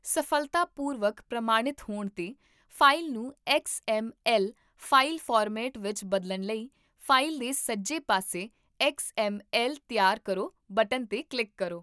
ਸਫ਼ਲਤਾਪੂਰਵਕ ਪ੍ਰਮਾਣਿਤ ਹੋਣ 'ਤੇ, ਫਾਈਲ ਨੂੰ X M L file format ਵਿੱਚ ਬਦਲਣ ਲਈ ਫਾਈਲ ਦੇ ਸੱਜੇ ਪਾਸੇ 'ਤੇ 'ਐੱਕਸ ਐੱਮ ਐੱਲ ਤਿਆਰ ਕਰੋ' ਬਟਨ 'ਤੇ ਕਲਿੱਕ ਕਰੋ